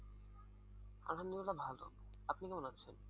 আলহামদুলিল্লাহ ভালো আপনি কেমন আছেন?